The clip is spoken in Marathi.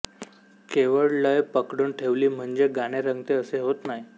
केवळ लय पकडून ठेवली म्हणजे गाणे रंगते असे होत नाही